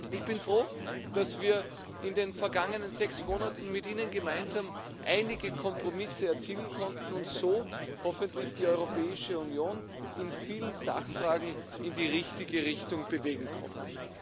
Ich bin froh, dass wir in den vergangenen sechs Monaten mit Ihnen gemeinsam einige Kompromisse erzielen konnten und so hoffentlich die Europäische Union in vielen Sachfragen in die richtige Richtung bewegen konnten.